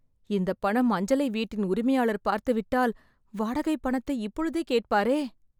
இந்தப் பணம் அஞ்சலை வீட்டின் உரிமையாளர் பார்த்து விட்டால், வாடகை பணத்தை இப்பொழுதே கேட்பாரே..